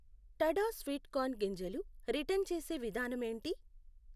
Ta-da sweet corn గింజలు return చేసే విధానం ఏంటి?